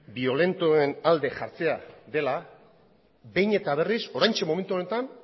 biolentoen alde jartzea dela behin eta berriz oraintxe momentu honetan